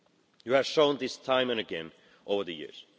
You have shown this time and again over the years.